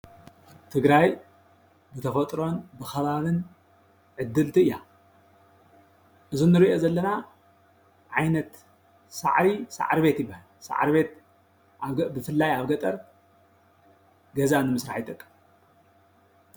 ትግራይ በተፎጥሮን ብከባብን ዕድልቲ አያ፡፡ እዚ እኒረኦ ዘለና ዓይነት ሳዕሪ ሳዕርቤት ይባሃል፡፡ ሳዕርቤትብፍላይ ኣብ ገጠር ገዛ ኒመስራሓ ይጠቀም፡፡